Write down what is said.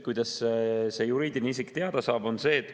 Kuidas see juriidiline isik teada saab?